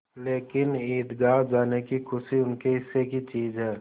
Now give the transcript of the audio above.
लेकिन ईदगाह जाने की खुशी उनके हिस्से की चीज़ है